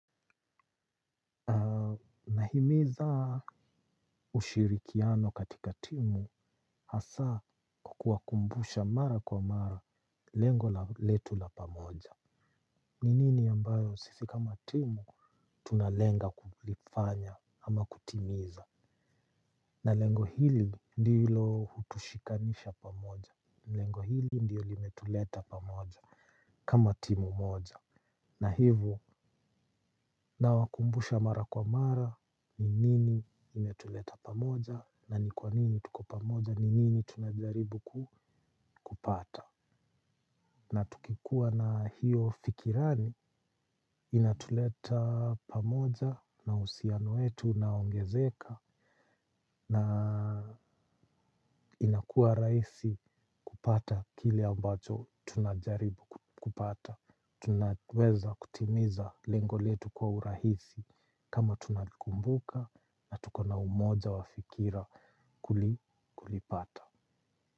Nahimiza ushirikiano katika timu hasa kwa kuwakumbusha mara kwa mara lengo la letu la pamoja. Ni nini ambayo sisi kama timu tunalenga kulifanya ama kutimiza. Na lengo hili ndilo hutushikanisha pamoja. Lengo hili ndiyo limetuleta pamoja kama timu moja. Na hivo na wakumbusha mara kwa mara ni nini imetuleta pamoja na ni kwa nini tuko pamoja ni nini tunajaribu kupata. Na tukikua na hiyo fikirani inatuleta pamoja na uhusiano wetu unaongezeka na inakua rahisi kupata kile ambacho tunajaribu kupata. Tunaweza kutimiza lengo letu kwa urahisi. Kama tunalikumbuka na tukona umoja wa fikira kulipata.